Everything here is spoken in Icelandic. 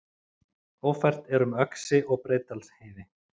Ófært er um Öxi og Breiðdalsheiði